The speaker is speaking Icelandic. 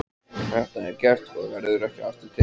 Þetta er gert og verður ekki aftur tekið.